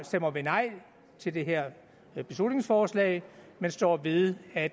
stemmer vi nej til det her beslutningsforslag men står ved at